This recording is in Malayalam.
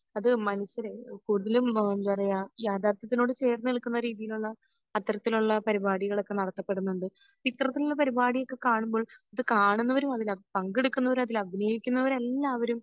അത് മനുഷ്യരെ കൂടുതലും എന്താ പറയെ യാഥാർത്യത്തിനോട് ചേർന്നു നിൽക്കുന്ന രീതിയിലുള്ള അത്തരത്തിലുള്ള പരിപാടികൾ ഒക്കെ നടത്തപെടുന്നുണ്ട് ഇത്തരത്തിലുള്ള പരിപാടികൾ ഒക്കെ കാണുമ്പോൾ അത് കാണുന്നവരും അതിൽ പങ്കെടുക്കുന്നവരും അതിൽ അഭിയനയിക്കുന്നവരും എല്ലാവരും